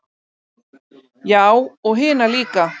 Já og hina líka.